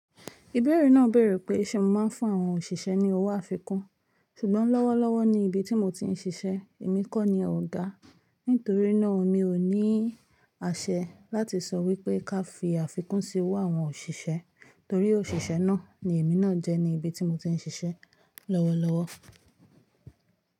Ìbẹ̀rẹ̀ náà béèrè pé ṣe mo máa ń fún àwọn òṣìṣẹ́ ní owó àfikún. Ṣùgbọ́n lọ́wọ́lọ́wọ́ ni ibi tí mo ti ń ṣiṣẹ́, èmi kọ́ ni ògá. Nítorí náà mi ò ní àṣẹ láti sọ wípé ká fi àfikún sí owó àwọn òṣìṣẹ́ torí òṣìṣẹ́ náà ni èmi náà jẹ́ ní ibi tí mo ti ń ṣiṣẹ́ lọ́wọ́lọ́wọ́.